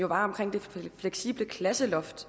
jo var omkring det fleksible klasseloft